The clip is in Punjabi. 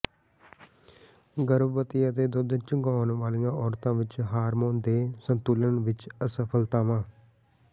ਗਰਭਵਤੀ ਅਤੇ ਦੁੱਧ ਚੁੰਘਾਉਣ ਵਾਲੀਆਂ ਔਰਤਾਂ ਵਿੱਚ ਹਾਰਮੋਨ ਦੇ ਸੰਤੁਲਨ ਵਿੱਚ ਅਸਫਲਤਾਵਾਂ